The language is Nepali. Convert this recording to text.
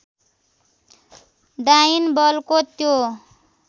डाइन बलको त्यो